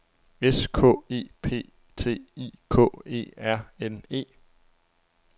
S K E P T I K E R N E